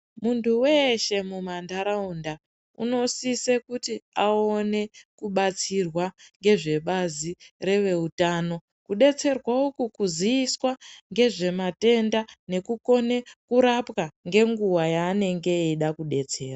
Muntu weshe mumandaraunda unosisa kuti aone kubatsirwa nezvebazi rezvehutano rinodetserwa uku kuziswa nezvematwnda nekukona kurapwa nenguwa yanoda kudetserwa.